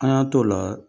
An y'an t'o la